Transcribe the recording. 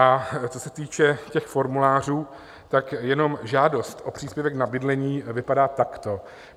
A co se týče těch formulářů, tak jenom žádost o příspěvek na bydlení vypadá takto.